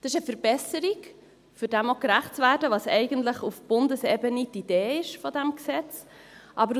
Das ist eine Verbesserung, um dem gerecht zu werden, was auf Bundesebene die Idee dieses Gesetzes ist.